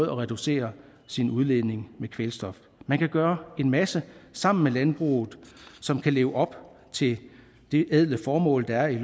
at reducere sin udledning med kvælstof man kan gøre en masse sammen med landbruget som kan leve op til det ædle formål der er i